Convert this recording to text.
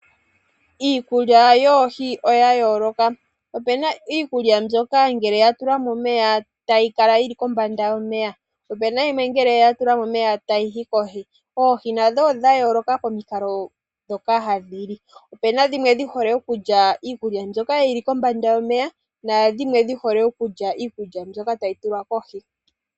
Iikulya yoohi oya yooloka opu na iikulya mbyoka ngele ya tulwa momeya tayi kala yili kombanga yomeya, opu na yimwe ngele ya tulwa momeya tayi yi kohi. Oohi nadho odha yooloka pomikalo ndhoka hadhi li opu na dhimwe dhi hole okulya iikulya mbyoka yi kombanga yomeya naadhimwe dhi hole okulya iikulya mbyoka tayi tulwa kohi.